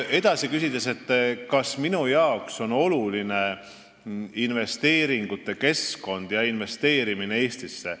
Edasi, kas minu jaoks on oluline investeeringute keskkond ja investeerimine Eestisse.